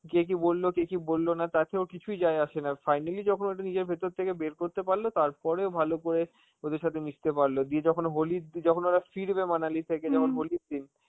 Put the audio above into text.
কে কি বলবে, কে কি বলল কে কি বলল না তাতে ওর কিছুই যায় আসে না, finally যখন ওটা নিজের ভেতর থেকে করতে পারল, তারপরে ও ভালো করে ওদের সাথে মিশতে পারল, দিয়ে যখন হোলির দি~ যখন ওরা ফিরবে মানালি থেকে যখন হোলির দিন,